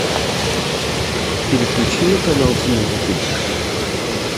переключи на канал с музыкой